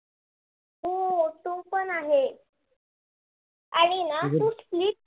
ते पण आहे, आणि ना तू sleep